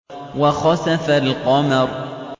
وَخَسَفَ الْقَمَرُ